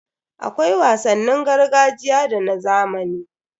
Akwai wasannin gargajiya da na zamani.